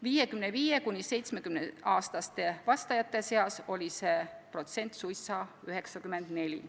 55–70-aastaste vastajate seas oli see protsent suisa 94.